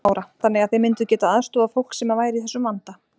Lára: Þannig að þið mynduð getað aðstoðað fólk sem að væri í þessum vanda?